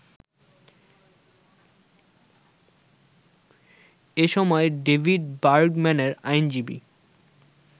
এসময় ডেভিড বার্গম্যানের আইনজীবী